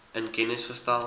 in kennis gestel